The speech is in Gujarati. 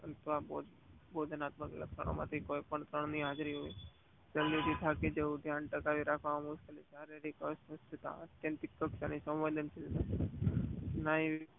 ભૌમિતિક લક્ષણો માંથી કોઈ પણ એક ની હાજરી હોવી જોઈએ જલ્દી થી થાકી જાઉં ધ્યાન ના ટકાવી રાખવું શારીરિક અવસ્થસીલતા